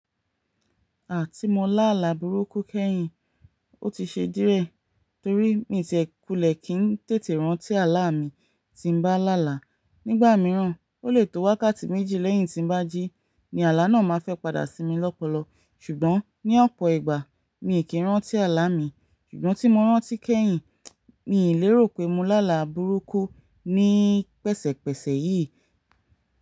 Igba ti mo lá àlà burúkú kẹ́yìn, ó ti ṣe díẹ̀ torí mi tiẹ̀ kulẹ̀ kí n tètè rántí àlá mi tí n bá làlà. Nígbà mìíràn, ó le tó wákàtí méjì lẹ́yìn tí n bá jí ni àlá náà máa fẹ́ padà sí mi lọ́pọ̀lọp. Ṣùgbọ́n ní ọ̀pọ̀ ìgbà mi kì í rántí àlá mi, ṣùgbọ́n tí mo rántí kẹ́yìn, ni ìlérò pé mo làlà burúkú ní pẹ̀sẹ̀pẹ̀sẹ̀ yìí.